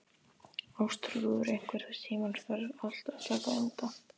Ástþrúður, einhvern tímann þarf allt að taka enda.